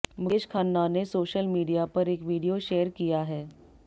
मुकेश खन्ना ने social media पर एक वीडियो शेयर किया है